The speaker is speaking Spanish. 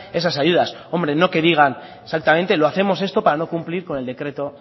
esas ayudas no que digan exactamente que hacemos esto para no cumplir con el decreto